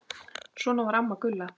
Svona var amma Gulla.